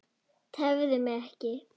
Tefðu mig ekki.